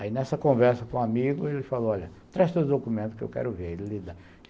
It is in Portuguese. Aí, nessa conversa com um amigo, ele falou, olha, traz todos os documentos que eu quero ver.